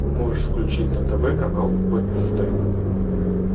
можешь включить на тв канал бст